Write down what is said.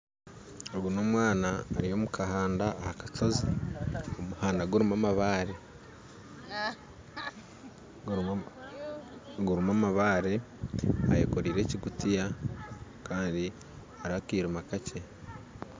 Ogu n'omwana ari omu kahanda aha kashoozi omuhanda gurimu amabaare, ayekoraire ekingutiya kandi hariho akiriima kakye